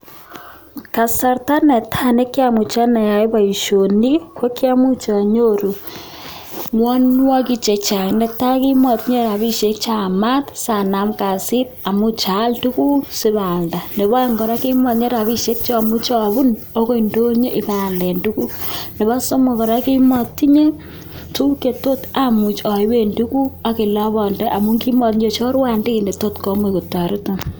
Kasarta ne tai ne kiamuch ane ayai boisoni ko kiamuch anyoru ngwanngwanik chechang, n tai, kimatinye rapinik cheyamat sanam kasit amuch aal tuguk sipoalda. Nebo aeng kora, kimatinye rapishek che amuche apun akoi indonyo ipaal tuguk. Nebo somok kora, kimatinye tuguk chetot amuch aipe tuguk ak olepande amun kimatinye chorwandit netot komuch kotoreton.